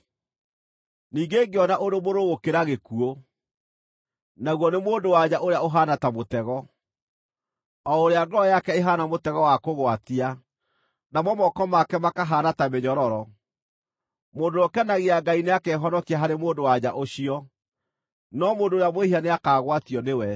Ningĩ ngĩona ũndũ mũrũrũ gũkĩra gĩkuũ, naguo nĩ mũndũ-wa-nja ũrĩa ũhaana ta mũtego, o ũrĩa ngoro yake ĩhaana mũtego wa kũgwatia, namo moko make makahaana ta mĩnyororo. Mũndũ ũrĩa ũkenagia Ngai nĩakehonokia harĩ mũndũ-wa-nja ũcio, no mũndũ ũrĩa mwĩhia nĩakagwatio nĩwe.